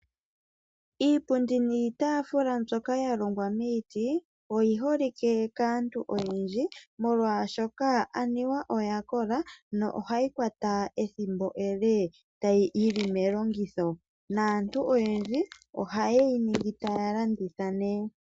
Iipundi niitafula mbyoka ya longwa momiti oyi holike kaantu oyendji, molwaashoka aniwa oya kola yo ohayi kwata ethimbo ele yili melongitho, naantu oyendji oha yeyi ningi etaya landitha nee.